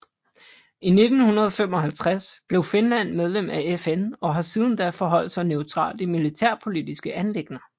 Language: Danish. I 1955 blev Finland medlem af FN og har siden da forholdt sig neutralt i militærpolitiske anliggender